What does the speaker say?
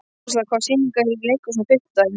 Ásla, hvaða sýningar eru í leikhúsinu á fimmtudaginn?